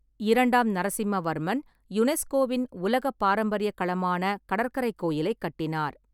இரண்டாம் நரசிம்மவர்மன் யுனெஸ்கோவின் உலகப் பாரம்பரியக் களமான கடற்கரைக் கோயிலைக் கட்டினார்.